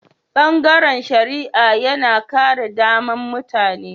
Bangaren shari'a yana kare daman mutane.